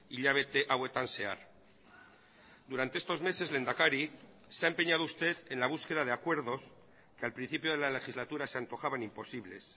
hilabete hauetan zehar durante estos meses lehendakari se ha empeñado usted en la búsqueda de acuerdos que al principio de la legislatura se antojaban imposibles